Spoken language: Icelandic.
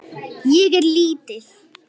Ég er lítil.